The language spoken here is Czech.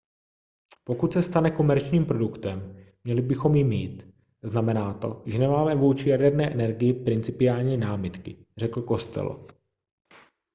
pokud se stane komerčním produktem měli bychom ji mít znamená to že nemáme vůči jaderné energii principiální námitky řekl costello